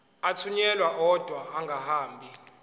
athunyelwa odwa angahambi